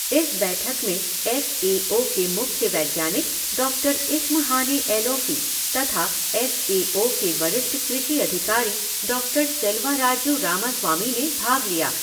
इस बैठक में एफ़ ए ओ के मुख्य वैज्ञानिक डॉक्टर इश्महाने एलौफ़ी तथा एफ़ ए ओ के वरिष्ठ कृषि अधिकारी डॉक्टर सेलवाराजू रामास्वामी ने भाग लिया।